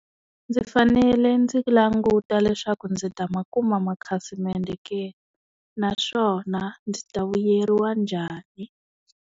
Ndzi fanele ndzi languta leswaku ndzi ta ma kuma ma khasimende ke? Naswona ndzi ta vuyeriwa njhani?